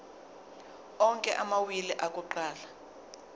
onke amawili akuqala